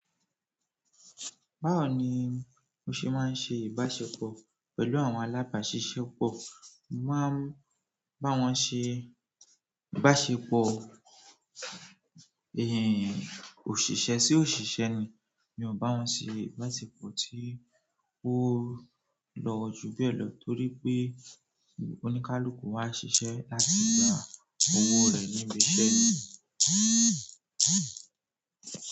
Báwo ni mo ṣe máa ń ṣe ìbáṣepọ̀ pẹ̀lú àwọn alábàáṣiṣẹ́ pọ̀? Mo máa ń bá wọn ṣe ìbáṣepọ̀ òṣìṣẹ́ sí òṣìṣẹ́ ni. Mi ò bá wọn ṣe ìbáṣepọ̀ tí ó lọ́ọ̀jú beé lọ torí pé oníkálukú wá ń ṣiṣẹ́ láti gba owó rẹ̀ níbi iṣẹ́.